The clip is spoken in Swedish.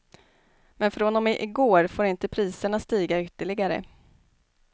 Men från och med igår får inte priserna stiga ytterligare.